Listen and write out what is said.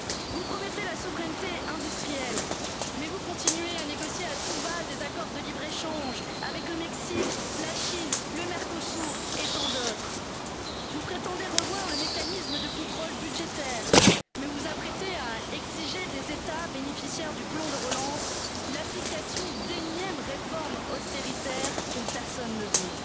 Vous promettez la souveraineté industrielle, mais vous continuez à négocier à tout va des accords de libre échange avec le Mexique, la Chine, le Mercosur et tant d'autres. Vous prétendez revoir le mécanisme de contrôle budgétaire, mais vous vous apprêtez à exiger des États bénéficiaires du plan de relance l'application d'énièmes réformes austéritaires dont personne ne veut.